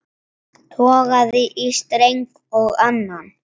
Togaði í streng og annan.